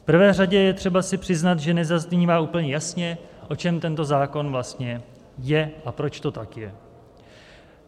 V prvé řadě je třeba si přiznat, že nezaznívá úplně jasně, o čem tento zákon vlastně je a proč to tak je.